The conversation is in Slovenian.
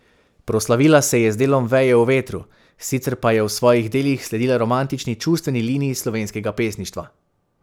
Proslavila se je z delom Veje v vetru, sicer pa je v svojih delih sledila romantični čustveni liniji slovenskega pesništva.